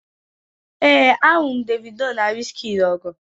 ee, ahụrụ m Davido na wizkid ọgụ